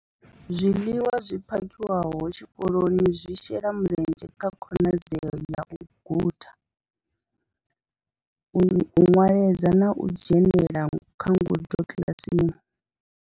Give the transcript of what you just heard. Zwiḽiwa zwi phakhiwaho tshikoloni zwi shela mulenzhe kha khonadzeo ya u guda, u nweledza na u dzhenela kha ngudo kiḽasini.